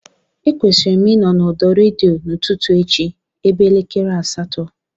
Ekwesịrị m ịnọ n'ọdọ redio n'ụtụtụ echi ebe elekere asatọ